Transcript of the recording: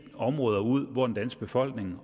områder ud hvor den danske befolkning